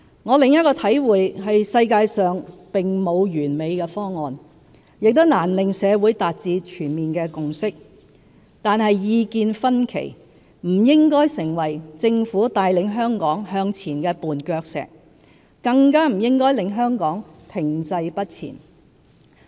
"我另一個體會是世界上並沒有完美的方案，也難令社會達致全面的共識，但意見分歧不應成為政府帶領香港向前的絆腳石，更不應令香港停滯不前。